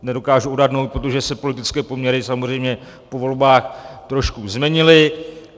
Nedokážu odhadnout, protože se politické poměry samozřejmě po volbách trošku změnily.